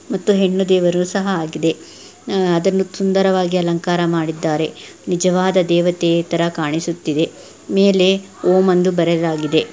ಮತ್ತು ಹೆಣ್ಣು ದೇವರು ಸಹ ಆಗಿದೆ. ಅಹ್ ಅದನ್ನು ಸುಂದರವಾಗಿ ಅಲಂಕಾರ ಮಾಡಿದ್ದಾರೆ. ನಿಜವಾದ ದೇವತೆ ತರ ಕಾಣಿಸುತ್ತಾಯಿದೆ. ಮೇಲೆ ಓಂ ಎಂದು ಬರೆದಾಗಿದೆ.